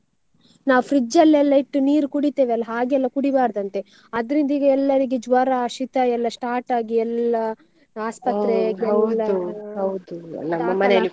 ನಾವು fridge ಅಲ್ಲೆಲ್ಲ ಇಟ್ಟು ನೀರು ಕುಡಿತೇವಲ್ಲ ಹಾಗೆಲ್ಲಾ ಕುಡಿಬಾರ್ದಂತೆ ಅದ್ರಿಂದ ಈಗ ಎಲ್ಲರಿಗೆ ಜ್ವರ ಶೀತ ಎಲ್ಲ start ಎಲ್ಲ .